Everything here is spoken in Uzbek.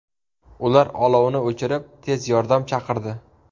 Ular olovni o‘chirib, tez yordam chaqirdi.